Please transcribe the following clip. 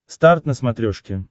старт на смотрешке